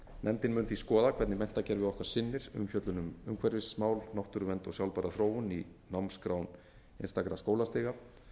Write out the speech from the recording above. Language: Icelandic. nefndin mun því skoða hvernig menntakerfi okkar sinnir umfjöllun um umhverfismál náttúruvernd og sjálfbæra þróun í námskrám einstakra skólastiga